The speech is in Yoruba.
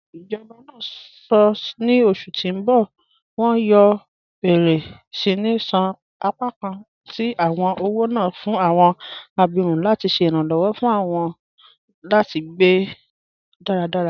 Ijọba náà sọ́ ní ọṣù tí n bọ wọn yóò bẹ̀rẹ̀ síni ṣan apakàn tí awọn ọwọ́ náà fún awọn àbírún láti ṣè iranlọwọ fún wọn láti gbẹ́ daradara.